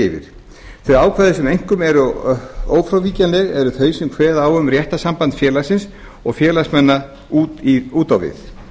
yfir þau ákvæði sem einkum eru ófrávíkjanleg eru þau sem kveða á um réttarsamband félagsins og félagsmanna út á við